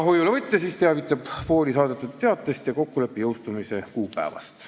Hoiulevõtja teavitab pooli saadetud teatest ja kokkuleppe jõustumise kuupäevast.